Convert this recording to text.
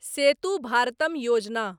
सेतु भारतम योजना